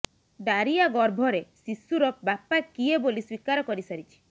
Daria ଗର୍ଭରେ ଶିଶୁର ବାପା କିଏ ବୋଲି ସ୍ବୀକାର କରିସାରିଛି